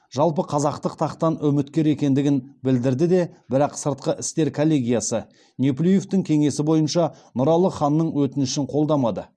жалпықазақтық тақтан үміткер екендігін білдірді де бірақ сыртқы істер коллегиясы неплюевтің кеңесі бойынша нұралы ханның өтінішін қолдамады